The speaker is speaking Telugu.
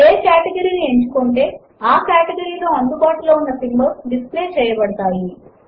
ఏ కేటగరీ ని ఎంచుకుంటే ఆ కేటగరీ లో అందుబాటులో ఉన్న సింబాల్స్ డిస్ప్లే చేయబడతాయి